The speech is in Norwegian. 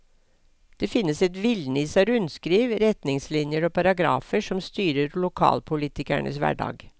Det finnes et villnis av rundskriv, retningslinjer og paragrafer som styrer lokalpolitikernes hverdag.